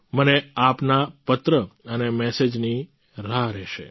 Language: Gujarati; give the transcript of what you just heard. મને આપના પત્ર અને મેસેજની રાહ રહેશે